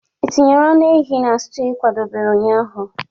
Ị tinyere anụ ehi na stew ị kwadebere ụnyaahụ?